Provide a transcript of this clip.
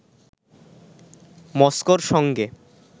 মস্কোর সঙ্গে